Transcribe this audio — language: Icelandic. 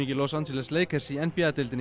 Los Angeles Lakers í n b a deildinni